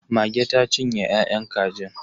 Mage ta cinye ya'yan kajin.